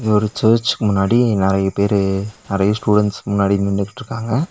ஒரு சர்சுக்கு முன்னாடி நெரையா பேரு நெரையா ஸ்டூடன்ட்ஸ்கு முன்னாடி நின்னுகிட்ருக்காங்க.